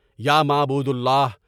یا معبودِ اللہ!